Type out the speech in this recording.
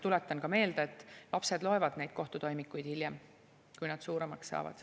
Tuletan meelde, et lapsed loevad neid kohtutoimikuid hiljem, kui nad suuremaks saavad.